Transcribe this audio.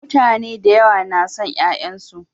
Mutane da yawa na son ƴaƴansu.